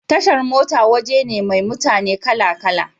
Tashar mota waje ne mai mutane kala kala